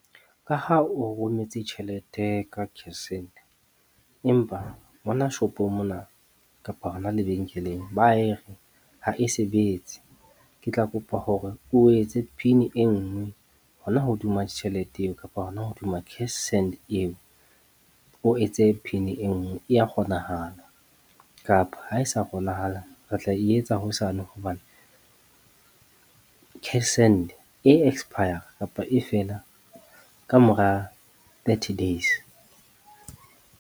Ka ha o rometse tjhelete ka cashsend, empa mona shopong mona kapa hona lebenkeleng ba e re ha e sebetse. Ke tla kopa hore o etse PIN e nngwe hona hodima tjhelete eo kapa hona hodima cashsend eo. O etse PIN e nngwe e ya kgonahala, kapa ha e sa kgonahala re tla e etsa hosane hobane cashsend e expire kapa e fela ka mora thirty days.